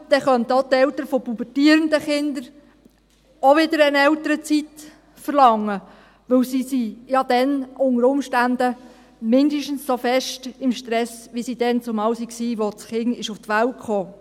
Aber dann könnten auch die Eltern von pubertierenden Kindern wieder eine Elternzeit verlangen, denn sie sind ja dann unter Umständen mindestens so stark im Stress, wie sie es damals waren, als das Kind zur Welt kam.